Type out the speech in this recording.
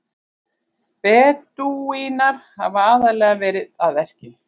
Bedúínar hafa aðallega verið að verki.